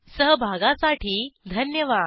सहभागासाठी धन्यवाद